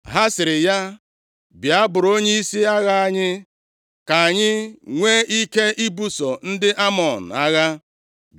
Ha sịrị ya, “Bịa buru onyeisi agha anyị ka anyị nwee ike ibuso ndị Amọn agha.”